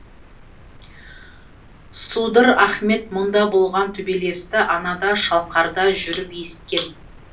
судыр ахмет мұнда болған төбелесті анада шалқарда жүріп есіткен